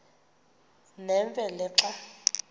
nemfe le xa